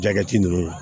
ninnu